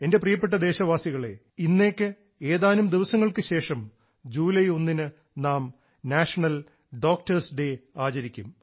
എൻറെ പ്രിയപ്പെട്ട ദേശവാസികളേ ഇന്നേക്ക് ഏതാനും ദിവസങ്ങൾക്കു ശേഷം ജൂലൈ ഒന്നിന് നാം നാഷണൽ ഡോക്ടേഴ്സ് ഡേ ആചരിക്കും